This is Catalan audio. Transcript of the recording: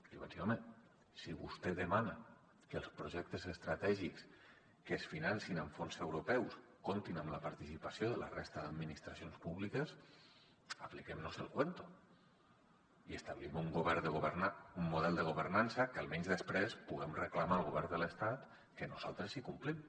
li vaig dir home si vostè demana que els projectes estratègics que es financin amb fons europeus comptin amb la participació de la resta d’administracions públiques apliquem nos el cuento i establim un model de governança que almenys després puguem reclamar al govern de l’estat que nosaltres sí que complim